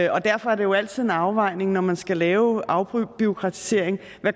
og derfor er det jo altid en afvejning når man skal lave afbureaukratisering